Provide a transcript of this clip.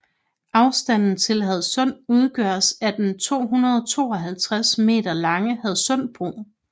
Afstanden til Hadsund udgøres af den 252 m lange Hadsundbro